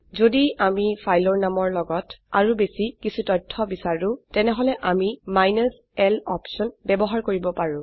যদি আম ফাইলৰ নামৰ লগত আৰু বেশি কিছু তথ্য বিচাৰো তেনেহলে আমি মাইনাছ l অপশন ব্যবহাৰ কৰিব পাৰো